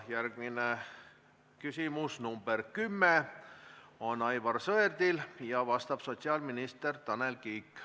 Järgmine küsimus, nr 10, on Aivar Sõerdilt, vastab sotsiaalminister Tanel Kiik.